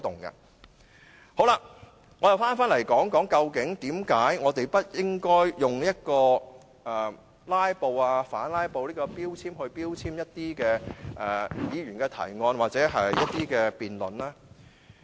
我再談談為何我們不應該用"拉布"、反"拉布"來標籤一些議員的提案或辯論呢？